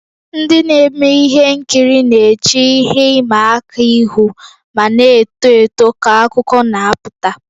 Ndị na-eme ihe nkiri na-eche ihe ịma aka ihu ma na-eto eto ka akụkọ na-apụta.